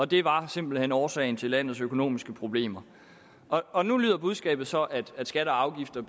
det var simpelt hen årsagen til landets økonomiske problemer og nu lyder budskabet så at skatter og afgifter